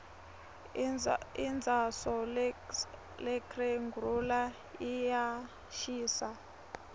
indzauso lerxgenhula iyashisa